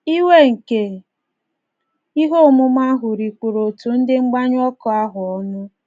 Iwe nke ihe omume ahụ rikpuru òtù ndị mgbanyụ ọkụ ahụ ọnụ.